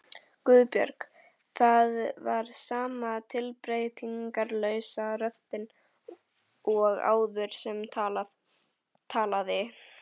Guðbjörg. það var sama tilbreytingarlausa röddin og áður sem talaði.